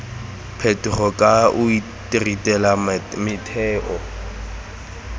phetogo ka o ritela metheo